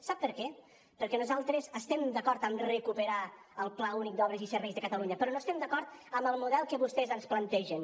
sap per què perquè nosaltres estem d’acord amb recuperar el pla únic d’obres i serveis de catalunya però no estem d’acord amb el model que vostès ens plantegen